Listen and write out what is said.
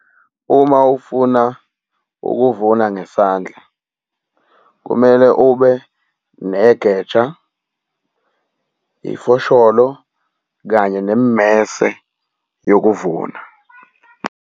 Uma ufuna ukuvuna ngesandla, kumele ube negeja, ifosholo kanye nemimese yokuvuna.